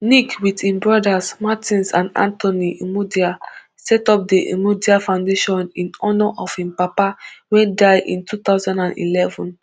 nick wit im brothers martins and anthony imudia setup di imudia foundation in honour of im papa wey die in two thousand and eleven